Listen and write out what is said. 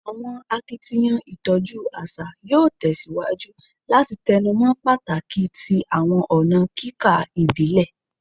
Awọn akitiyan itọju aṣa yoo tẹsiwaju lati tẹnumọ pataki ti awọn ọna kika ibile